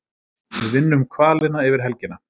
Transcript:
Við vinnum hvalina yfir helgina